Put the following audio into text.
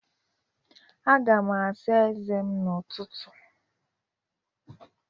Aga m asa ezé m n'ụtụtụ